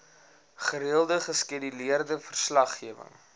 gereelde geskeduleerde verslaggewing